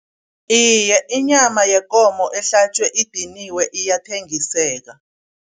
Iye, inyama yekomo ehlatjwe idiniwe iyathengiseka.